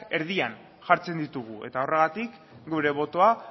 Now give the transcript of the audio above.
erdian jartzen ditugu eta horregatik gure botoa